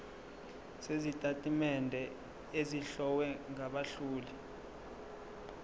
sezitatimende ezihlowe ngabahloli